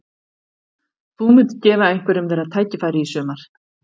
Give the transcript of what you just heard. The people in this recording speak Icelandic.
Þú munt gefa einhverjum þeirra tækifæri í sumar?